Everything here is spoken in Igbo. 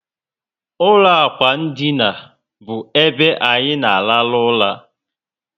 Ụlọ ákwà ndina bu ebe anyị na arahu ụra